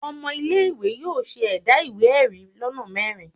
Ọmọ ile-iwe yóò ṣe ẹda iwe-ẹri lona mẹrin.